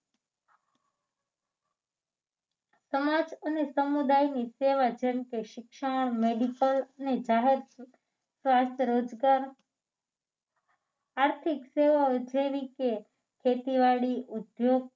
સમાજ અને સમુદાયની સેવા જેમ કે શિક્ષણ medical અને જાહેર સ્વાસ્થ્ય રોજગાર આર્થિક સેવાઓ જેવી કે ખેતીવાડી ઉદ્યોગ